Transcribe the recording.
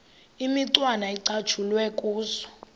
imicwana ecatshulwe kuzo